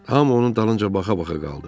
Hamı onun dalınca baxa-baxa qaldı.